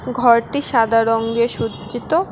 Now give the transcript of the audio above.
ঘরটি সাদা রংগে সজ্জিত।